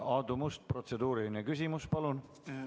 Aadu Must, protseduuriline küsimus, palun!